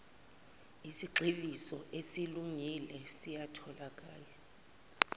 isigxivizo esesilungile siyatholakala